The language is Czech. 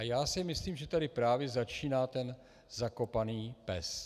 A já si myslím, že tady právě začíná ten zakopaný pes.